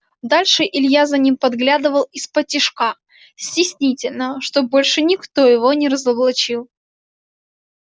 дальше илья за ними подглядывал исподтишка стеснительно чтобы больше никто его не разоблачил